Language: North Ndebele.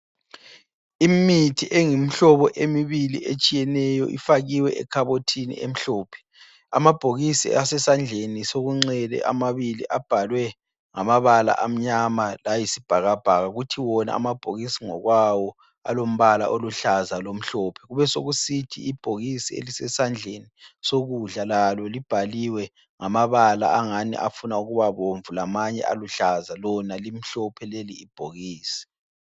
Imithi eyimhlobo emibili etshiyeneyo ifakiwe ekhabothini emhlophe. Amabhokisi ase sandleni sokunxele amabili abhalwe ngama bala amnyama layisibhakabhaka. Kuthi wona amabhokisi ngokwawo alombala oluhlaza lomhlophe. Kube sekusithi ibhokisi elisesandleni sokudla lalo libhaliwe ngamabala angani afuna ukubabomvu lamanye aluhlaza. Lona limhlophe leli bhokisi.